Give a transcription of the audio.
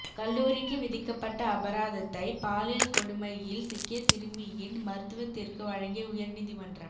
கல்லூரிக்கு விதிக்கப்பட்ட அபராதத்தை பாலியல் கொடுமையில் சிக்கிய சிறுமியின் மருத்துவத்திற்கு வழங்கிய உயர்நீதிமன்றம்